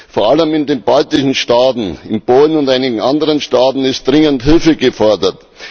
Vor allem in den baltischen Staaten, in Polen und einigen anderen Staaten ist dringend Hilfe gefordert.